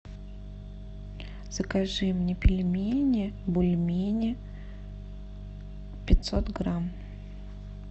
закажи мне пельмени бульмени пятьсот грамм